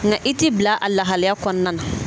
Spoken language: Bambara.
Nka i t'i bila a lahalaya kɔnɔna na